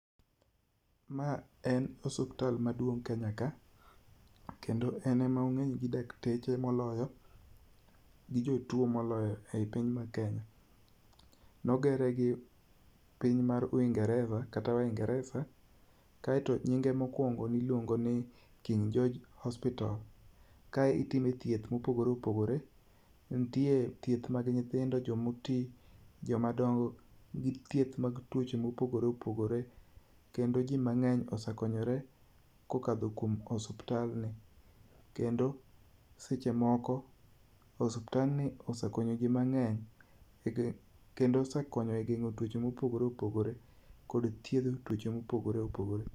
Ma en osiptal maduong' Kenya ka, kendo en ema ong'eny gi dakteche moloyo gi jo tuo moloyo ei piny mar Kenya. Ne ogere gi piny mar Uingeresa kata Oingeresa kaeto nyinge mokuongo ne iluongo ni King George Hospital. Ka itime thieth mopogore opogore, nitie thieth mag nyithindo, joma oti, joma dongo gi thieth mag tuoche mopogore opogore kendo ji mang'eny ose konyore kokalo kuom osiptandni. Kendo seche moko osiptand ni osekonyo ji mang'eny kendo ose konyo e geng'o tuoche mopogore opogore kod geng'o tuoche ma opogore opogore.